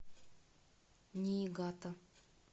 ниигата